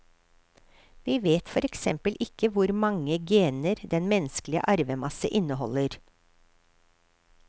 Vi vet for eksempel ikke hvor mange gener den menneskelige arvemasse inneholder.